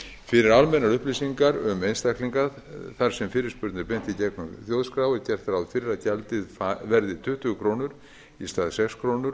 fyrir almennar upplýsingar um einstaklinga þar sem fyrirspurn er beint í gegnum þjóðskrá er gert ráð fyrir að gjaldið verði tuttugu krónur í stað sex króna